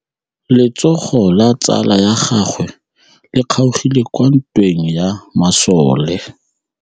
Letsôgô la tsala ya gagwe le kgaogile kwa ntweng ya masole.